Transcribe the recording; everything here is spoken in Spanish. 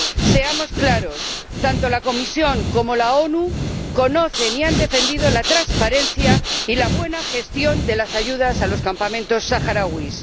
Seamos claros tanto la Comisión como la ONU conocen y han defendido la transparencia y la buena gestión de las ayudas a los campamentos saharauis.